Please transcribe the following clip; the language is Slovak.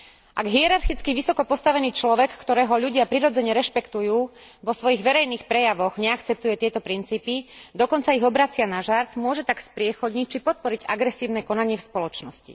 Ak hierarchicky vysoko postavený človek, ktorého ľudia prirodzene rešpektujú, vo svojich verejných prejavoch neakceptuje tieto princípy, dokonca ich obracia na žart, môže tak spriechodniť či podporiť agresívne konanie v spoločnosti.